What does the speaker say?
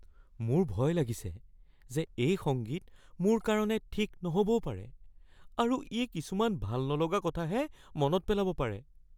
মোৰ ভয় লাগিছে যে এই সংগীত মোৰ কাৰণে ঠিক নহ'বও পাৰে আৰু ই কিছুমান ভাল নলগা কথাহে মনত পেলাব পাৰে।